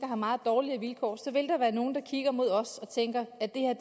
har meget dårlige vilkår så vil der være nogle der kigger mod os og tænker at det er